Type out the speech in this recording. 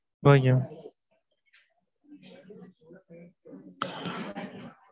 okay mam